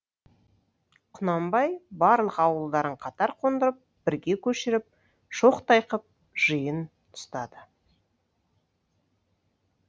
құнанбай барлық ауылдарын қатар қондырып бірге көшіріп шоқтай қып жиын ұстады